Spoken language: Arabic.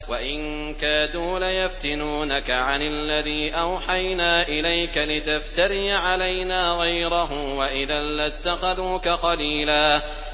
وَإِن كَادُوا لَيَفْتِنُونَكَ عَنِ الَّذِي أَوْحَيْنَا إِلَيْكَ لِتَفْتَرِيَ عَلَيْنَا غَيْرَهُ ۖ وَإِذًا لَّاتَّخَذُوكَ خَلِيلًا